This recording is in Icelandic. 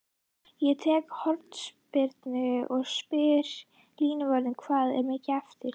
Ég tek hornspyrnu og spyr línuvörðinn hvað er mikið eftir?